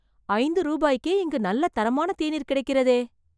ஐந்து ரூபாய்க்கே இங்கு நல்ல தரமான தேநீர் கிடைக்கிறதே